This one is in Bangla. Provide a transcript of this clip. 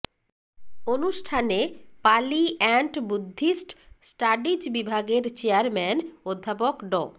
অনুষ্ঠানে পালি অ্যান্ড বুদ্ধিস্ট স্টাডিজ বিভাগের চেয়ারম্যান অধ্যাপক ড